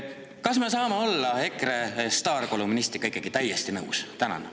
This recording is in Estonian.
" Kas me saame olla EKRE staarkolumnistiga ikkagi täiesti nõus?